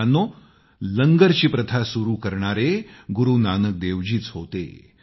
मित्रांनो लंगरची प्रथा सुरू करणारे गुरू नानकदेवजीच होते